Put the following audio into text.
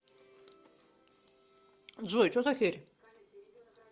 джой че за херь